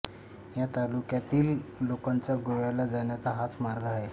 या तालुक्यातील लोकांचा गोव्याला जाण्याचा हाच मार्ग आहे